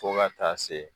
Fo ka taa se